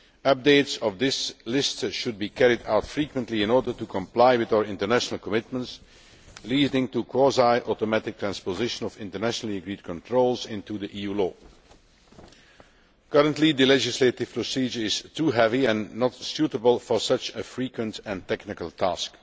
Updates of this list should be carried out frequently in order to comply with our international commitments, leading to quasi automatic transposition of internationally agreed controls into EU law. Currently, the legislative procedure is too heavy and not suitable for such a frequent and technical task.